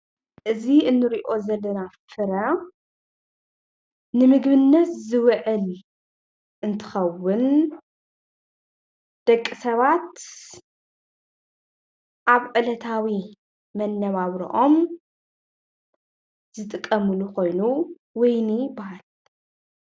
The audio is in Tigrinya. እዚ እንሪኦ ዘለና ፍረ ንምግብነት ዝውዕል እንትኸውን ደቂ ሰባት ኣብ ዕለታዊ መነባብረኦም ዝጥቀምሉ ኾይኑ ወይኒ ይበሃል ።